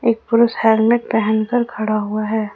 एक पुरुष हेलमेट पहन कर खड़ा हुआ है।